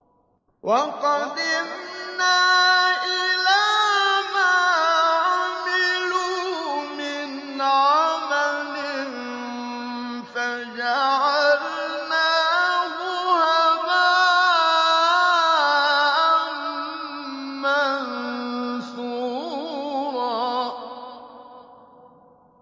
وَقَدِمْنَا إِلَىٰ مَا عَمِلُوا مِنْ عَمَلٍ فَجَعَلْنَاهُ هَبَاءً مَّنثُورًا